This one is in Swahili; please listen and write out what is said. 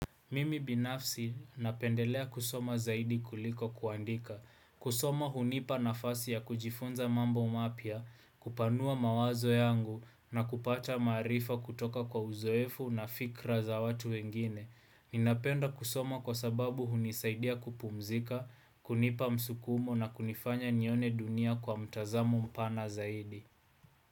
Mimi binafsi napendelea kusoma zaidi kuliko kuandika, kusoma hunipa nafasi ya kujifunza mambo mapya, kupanua mawazo yangu na kupata maarifa kutoka kwa uzoefu na fikra za watu wengine. Ninapenda kusoma kwa sababu hunisaidia kupumzika, kunipa msukumo na kunifanya nione dunia kwa mtazamo mpana zaidi.